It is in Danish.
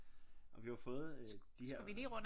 Og vi har jo fået de her øh